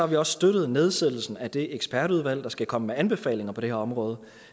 vi også støttet nedsættelsen af det ekspertudvalg der skal komme med anbefalinger på det her område